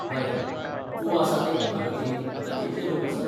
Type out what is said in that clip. बरें, तूं आसा ते इमारतींत आता कितले लोक आसात?